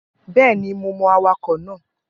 Bẹẹni, mo mọ awakọ̀ náà